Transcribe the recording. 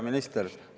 Hea minister!